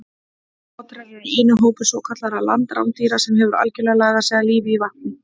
Otrar eru eini hópur svokallaðra landrándýra sem hefur algerlega lagað sig að lífi í vatni.